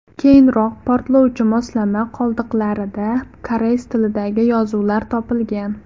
Keyinroq portlovchi moslama qoldiqlarida koreys tilidagi yozuvlar topilgan.